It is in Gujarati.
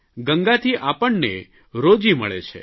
ગંગાથી આપણને રોજી મળે છે